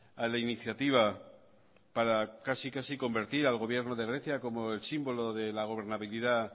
a la iniciativa para casi convertir al gobierno de grecia como el símbolo de la gobernabilidad